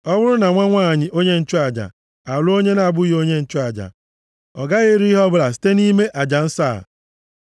Ọ bụrụ na nwa nwanyị onye nchụaja alụọ onye na-abụghị onye nchụaja, ọ gaghị eri ihe ọbụla site nʼime aja nsọ a.